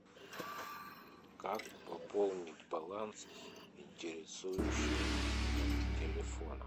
как пополнить баланс интересующего меня телефона